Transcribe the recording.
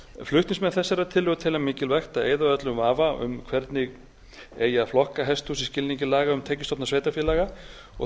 flutningsmenn þessarar tillögu telja mikilvægt að eyða öllum vafa um hvernig eigi að flokka hesthús í skilningi laga um tekjustofna sveitarfélaga og því